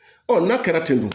n'a kɛra ten tɔn